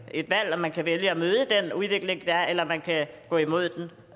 et valg man kan vælge at møde den udvikling der er eller man kan gå imod